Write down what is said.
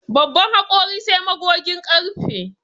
Babban hakori sai magogin ƙarfe